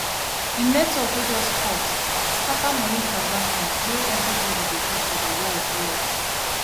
the network wey just cut scatter money transactions wey everybody dey do for the world well